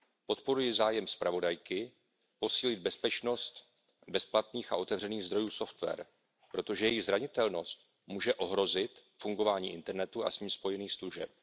Podporuji zájem zpravodajky posílit bezpečnost bezplatných a otevřených zdrojů software, protože jejich zranitelnost může ohrozit fungování internetu a s ním spojených služeb.